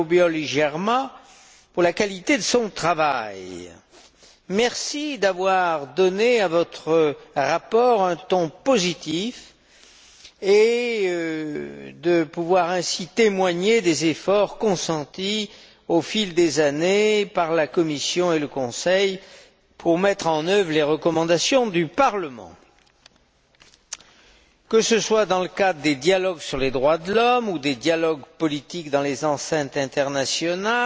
Obiols i Germà pour la qualité de son travail. Merci d'avoir donné à votre rapport un ton positif qui témoigne ainsi des efforts consentis au fil des années par la Commission et le Conseil pour mettre en œuvre les recommandations du Parlement. Que ce soit dans le cadre des dialogues sur les droits de l'homme ou des dialogues politiques dans les enceintes internationales,